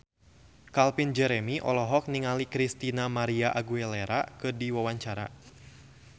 Calvin Jeremy olohok ningali Christina María Aguilera keur diwawancara